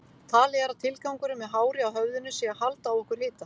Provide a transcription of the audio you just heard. Talið er að tilgangurinn með hári á höfðinu sé að halda á okkur hita.